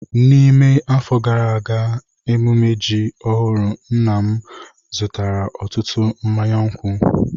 N'ime afọ gara aga ememme ji ọhụrụ nna m zụtara ọtụtụ mmanya nkwụ.